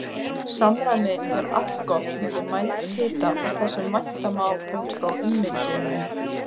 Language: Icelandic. Samræmi er allgott milli mælds hita og þess sem vænta má út frá ummynduninni.